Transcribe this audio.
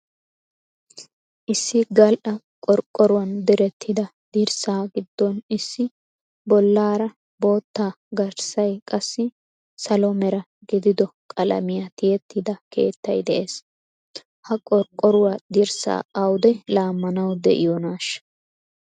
Issi gal"a qorqoruwan direttida dirssaa giddon issi bollaara bootta garssay qassi salo mera gidido qalamiya tiyettida keettay de'ees. Ha qorqqoruwa dirssaa awude laammanawu diyonaasha?